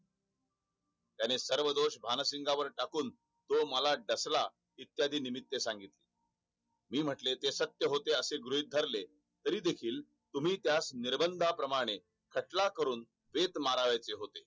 त्याने सर्व दोष भानसिंगावर टाकून तो मला डसला इत्यादी निमित्त सांगितले मी म्हंटले ते सत्य होते असे गृहीत धरले तरी देखील तुम्ही त्यास निर्रबनाप्रमाने खटला करून माऱ्याचे होते